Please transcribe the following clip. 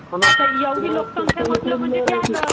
आता एवढी लोक संख्या म्हण्टलं तर ते आलाच.